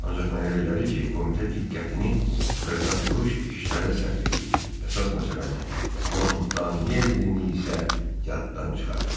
Ancaq mənə elə gəlir ki, komitə diqqətini xırdaxuruş işlərə sərf eləyir, əsas məsələni Montanellinin isə yaddan çıxarır.